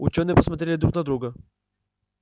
учёные посмотрели друг на друга